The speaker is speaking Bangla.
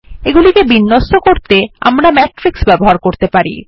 এগুলিকে বিন্যস্ত করতে আমরা ম্যাট্রিক্স ব্যবহার করতে পারি